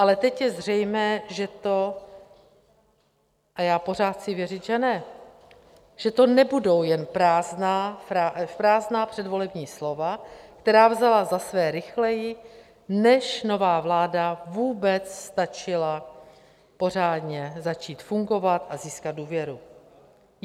Ale teď je zřejmé, že to - a já pořád chci věřit, že ne, že to nebudou jen prázdná předvolební slova, která vzala za své rychleji, než nová vláda vůbec stačila pořádně začít fungovat a získat důvěru.